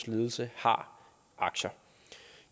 ledelse har aktier